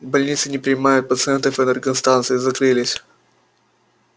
больницы не принимают пациентов энергостанции закрылись